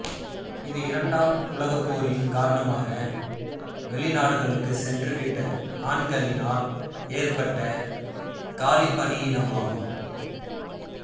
இது இரண்டாம் உலகப்போரின் கரணமாக வெளிநாடுகளுக்குச் சென்றுவிட்ட ஆண்களினால் ஏற்பட்ட காலிப்பணியிடமாகும்